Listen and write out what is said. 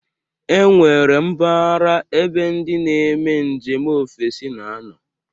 E nwere mpaghara ebe ndị na-eme njem ofesi na-anọ.